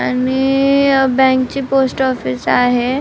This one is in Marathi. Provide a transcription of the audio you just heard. आणि अ बँक ची पोस्ट ऑफिस आहे.